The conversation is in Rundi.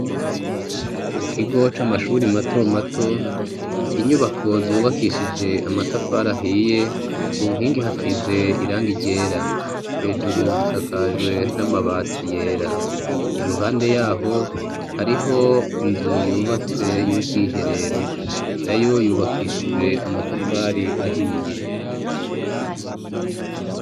Mu kigo c'amashure matomato inyubako zubakishije amatafari ahiye, ku nkingi hasize irangi ryera. Hejuru zisakajwe n'amabati yera, iruhande yaho hariho inzu yubatse y'ubwiherero, na yo yubakishije amatafari ahiye.